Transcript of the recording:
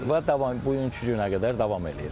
Və davam, bu günkü günə qədər davam eləyirəm.